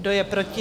Kdo je proti?